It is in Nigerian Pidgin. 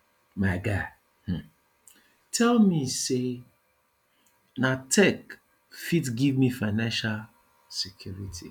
my guy um tell me sey na tech fit give me financial security